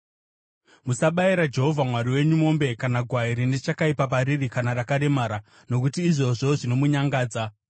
Musabayira Jehovha Mwari wenyu mombe kana gwai rine chakaipa pariri kana rakaremara, nokuti izvozvo zvinomunyangadza.